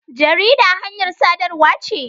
Jarida hanyar sadarwa ce.